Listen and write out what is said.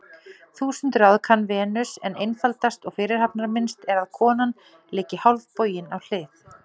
Þúsund ráð kann Venus, en einfaldast og fyrirhafnarminnst er að konan liggi hálfbogin á hlið.